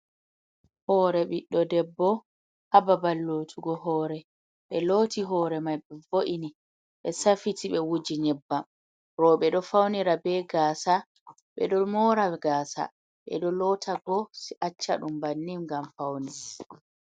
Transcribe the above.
Hoore ɓiɗɗo debbo, haa babal lotugo hoore, ɓe looti hoore mai, ɓe vo’ini, ɓe safiti, ɓe wuji nyebbam, rooɓe ɗo faunira be gaasa, ɓe ɗo moora gaasa, ɓe ɗo loota ɓo acca ɗum bannin, ngam faune.